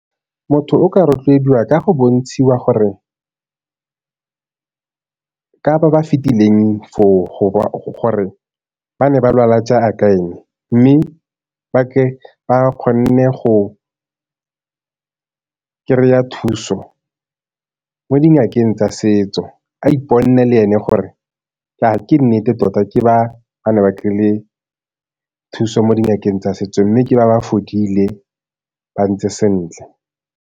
Motho o ka rotloediwa ka go bontshiwa gore ka ba ba fetileng foo gore ba ne ba lwala jaaka eng, mme ba ke ba kgonne go kry-a thuso mo dingakeng tsa setso, a le ene gore ke nnete tota ke ba ba ne ba kry-ile thuso mo dingakeng tsa setso mme ke ba ba fodile ba ntse sentle.